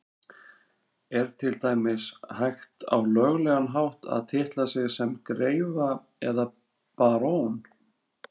Er til dæmis hægt á löglegan hátt að titla sig sem greifa eða barón?